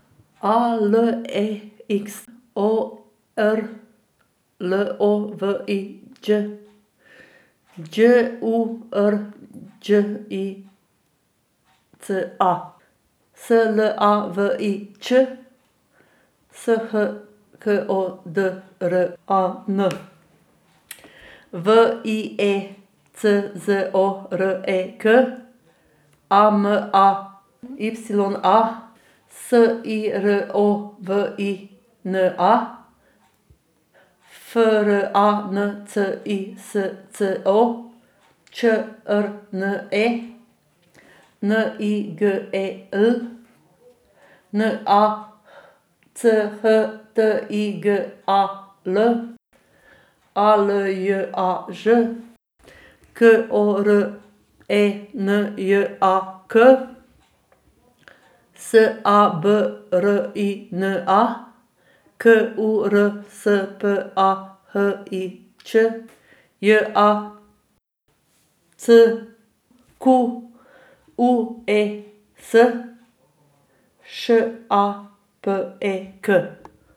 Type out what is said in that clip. A L E X, O R L O V I Ć; Đ U R Đ I C A, S L A V I Č; S H K O D R A N, W I E C Z O R E K; A M A Y A, S I R O V I N A; F R A N C I S C O, Č R N E; N I G E L, N A C H T I G A L; A L J A Ž, K O R E N J A K; S A B R I N A, K U R S P A H I Ć; J A C Q U E S, Š A P E K.